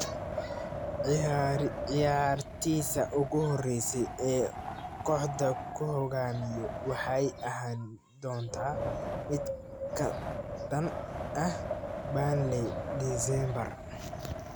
“Ciyaartiisa ugu horeysa ee uu kooxda ku hogaamiyo waxay ahaan doontaa mid ka dhan ah Burnley Diseembar.”